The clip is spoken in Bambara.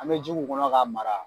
An bɛ ji k'u kɔnɔ k'a mara.